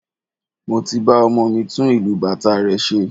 Mo ti ba ọmọ mi tún ìlù bàtá rẹ̀ ṣe